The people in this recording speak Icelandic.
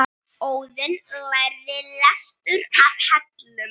Óðinn lærði lestur að Hellum.